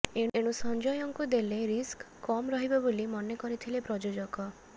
ଏଣୁ ସଂଜୟଙ୍କୁ ଦେଲେ ରିସ୍କ କମ୍ ରହିବ ବୋଲି ମନେ କରିଥିଲେ ପ୍ରଯୋଜକ